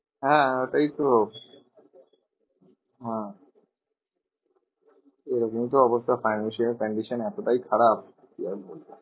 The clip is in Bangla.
হ্যাঁ ওটাই তো হ্যাঁ এরকমই তো অবস্থা financial condition এতটাই খারাপ, কি আর বলবো?